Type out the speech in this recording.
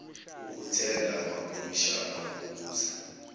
okuthenda amakomishana okubuza